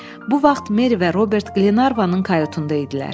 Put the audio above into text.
Bu vaxt Meri və Robert Glenarvanın karutunda idilər.